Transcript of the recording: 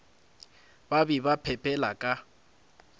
ba be ba phepela ka